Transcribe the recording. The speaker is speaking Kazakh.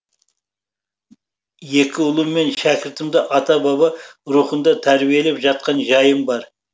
екі ұлым мен шәкіртімді ата баба рухында тәрбиелеп жатқан жайым бар